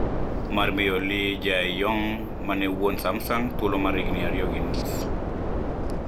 Mar miyo Lee Jae-yong, ma ne wuon Samsung, thuolo mar higini ariyo gi nus.